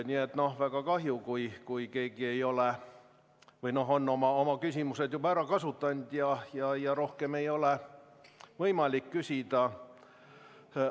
Nii et väga kahju, kui keegi on oma küsimused juba ära kasutanud ja tal rohkem ei ole võimalik küsida.